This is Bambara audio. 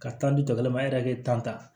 Ka tanto kelen ma e yɛrɛ bɛ tan ta